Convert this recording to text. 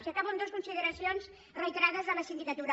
i acabo amb dues consideracions reiterades de la sindicatura